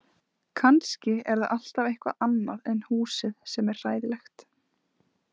Kannski er það alltaf eitthvað annað en húsið sem er hræðilegt?